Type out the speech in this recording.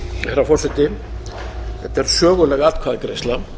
herra forseti þetta er söguleg atkvæðagreiðsla